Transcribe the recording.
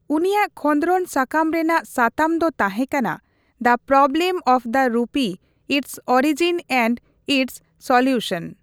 ᱩᱱᱤᱭᱟᱜ ᱠᱷᱚᱸᱫᱨᱚᱱ ᱥᱟᱠᱟᱢ ᱨᱮᱱᱟᱜ ᱥᱟᱛᱟᱢ ᱫᱚ ᱛᱟᱦᱮᱸ ᱠᱟᱱᱟ, ''the problem of the rupee its origin and its solution".